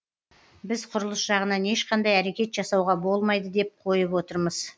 біз құрылыс жағынан ешқандай әрекет жасауға болмайды деп қойып отырмыз